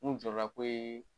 Mun jɔrɔna ko yee